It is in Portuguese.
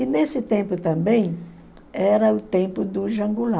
E nesse tempo também era o tempo do João Goulart